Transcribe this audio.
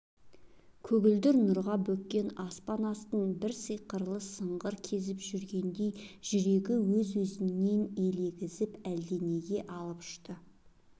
көгілдір нұрға бөккен аспан астын бір сиқырлы сыңғыр кезіп жүргендей жүрегі өз-өзінен елегізіп әлденеге алып ұшты